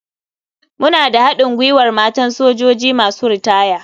Muna da haɗin gwiwar matan sojoji masu ritaya.